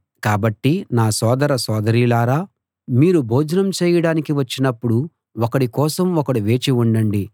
కాబట్టి నా సోదర సోదరీలారా మీరు భోజనం చేయడానికి వచ్చినప్పుడు ఒకడి కోసం ఒకడు వేచి ఉండండి